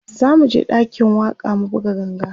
zamuje ɗakin waƙa mu buga ganga